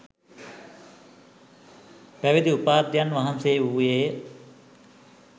පැවිදි උපාධ්‍යයන් වහන්සේ වූයේ